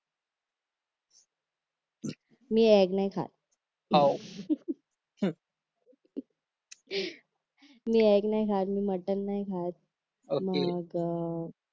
मी eggs नाही खात मी एग्ज नाही खात मी मटन नाही खात मग